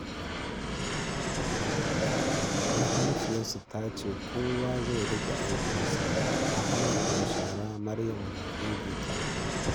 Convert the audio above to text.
Mahaifiyarsu ta ce kowa zai riƙe aikinsa, Ahmad na share, Maryam na goge tagogi.